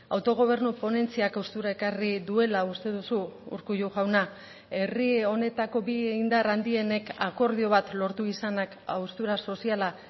autogobernu ponentziak haustura ekarri duela uste duzu urkullu jauna herri honetako bi indar handienek akordio bat lortu izanak haustura soziala